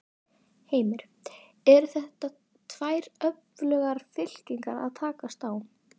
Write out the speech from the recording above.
Heimir: Eru þetta tvær öflugar fylkingar að takast á?